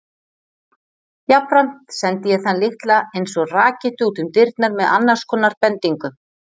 Jafnframt sendi ég þann litla einsog rakettu útum dyrnar með annars konar bendingu.